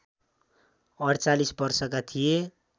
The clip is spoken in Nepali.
४८ वर्षका थिए